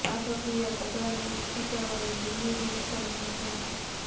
આ પ્રક્રિયા કપડાંને ઇસ્ત્રી કરવાની જૂની રીત સમાન છે